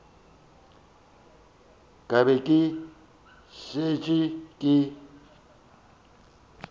ka be ke šetše ke